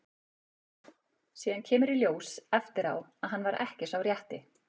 Síðan kemur í ljós eftir á að hann var ekki sá rétti.